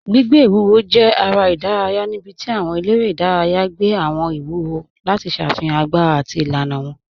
Gbìgbẹ̀ iwúwò jẹ̀ èrè idàrayà níbí tí àwọn èlẹ́rẹ̀ idàrayà gbẹ̀ àwọn iwúwò lati ṣáfihan agbára àti ilànà wọn.